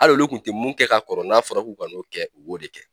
Al'olu kun te mun kɛ ka kɔrɔ n'a fɔra k'o ka n'o kɛ o de kɛ